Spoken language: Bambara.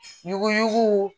Ɲugu